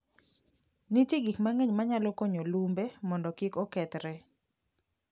Nitie gik mang'eny manyalo konyo lumbe mondo kik okethre.